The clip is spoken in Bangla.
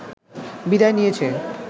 বিদায় নিয়েছে